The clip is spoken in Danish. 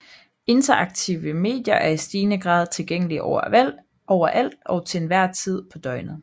Interaktive medier er i stigende grad tilgængelige overalt og til enhver tid på døgnet